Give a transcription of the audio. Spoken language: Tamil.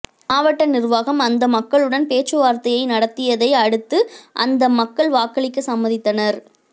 மாவட்ட நிர்வாகம் அந்த மக்களுடன் பேச்சுவார்த்தையை நடத்தியதை அடுத்து அந்த மக்கள் வாக்களிக்க சம்மதித்தனர்